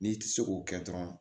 N'i ti se k'o kɛ dɔrɔn